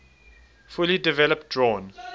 fully developed drawn